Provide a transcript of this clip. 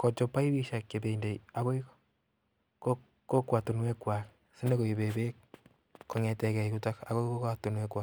kochop paipishek chependi ako kokwatunwekwa sinyokoipe beek kong'eteke yutok ako.